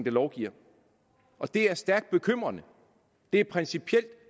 lovgiver og det er stærkt bekymrende det er principielt